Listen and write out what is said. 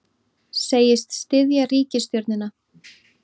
Segist styðja ríkisstjórnina